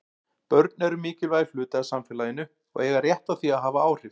Börn eru mikilvægur hluti af samfélaginu og eiga rétt á því að hafa áhrif.